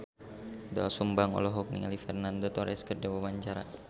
Doel Sumbang olohok ningali Fernando Torres keur diwawancara